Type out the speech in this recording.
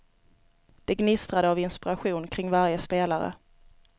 Det gnistrade av inspiration kring varje spelare.